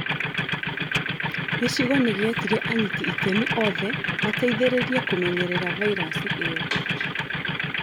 Gĩcigo nĩgĩetire anyiti itemi othe mateithĩrĩirie kũmenyerera vairasi ĩyo